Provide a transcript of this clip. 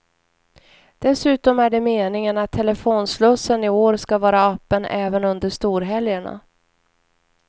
Dessutom är det meningen att telefonslussen i år ska vara öppen även under storhelgerna.